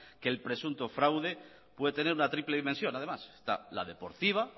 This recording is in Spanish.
que el presunto fraude puede tener una triple dimensión además está la deportiva